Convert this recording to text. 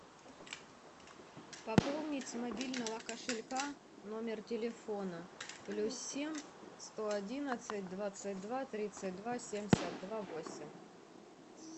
пополнить с мобильного кошелька номер телефона плюс семь сто одиннадцать двадцать два тридцать два семьдесят два восемь